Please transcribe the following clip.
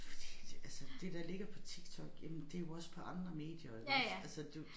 Fordi det altså det der ligger på TikTok jamen det jo også på andre medier iggås altså du